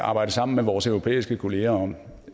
arbejde sammen med vores europæiske kollegaer om